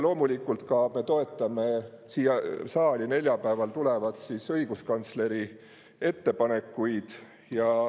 Loomulikult me toetame ka siia saali neljapäeval tulevat õiguskantsleri ettepanekut.